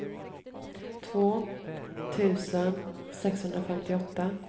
två tusen sexhundrafemtioåtta